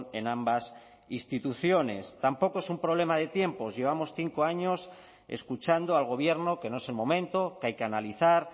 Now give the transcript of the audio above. en ambas instituciones tampoco es un problema de tiempos llevamos cinco años escuchando al gobierno que no es el momento que hay que analizar